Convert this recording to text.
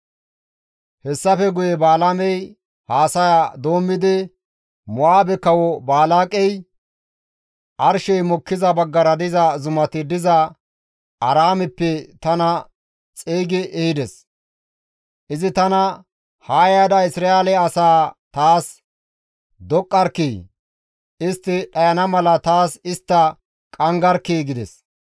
Hessafe guye Balaamey haasaya doommidi, «Mo7aabe kawo Balaaqey arshey mokkiza baggara diza zumati diza Aaraameppe tana xeygi ehides; izi tana, ‹Haa yaada Isra7eele asaa taas doqqarkkii! Istti dhayana mala taas istta qanggarkkii!› gides.